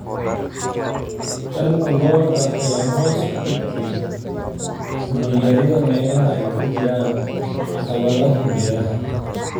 Taranta lo'da lo'da ayaa hoos u dhigtay cunno yarida meelaha ay ka jiraan caqabadaha beeraha.